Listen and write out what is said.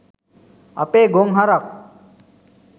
අපේ ගොන් හරක් .